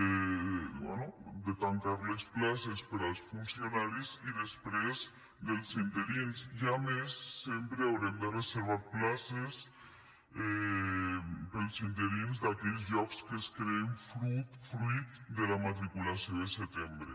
bé de tancar les places per als funcionaris i després dels interins i a més sempre haurem de reservar places per als interins d’aquells llocs que es creen fruit de la matriculació de setembre